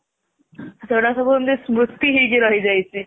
ସେଗୁଡାକ ସବୁ ଏମିତି ସ୍ମୃତି ହେଇ ରହି ଯାଇଛି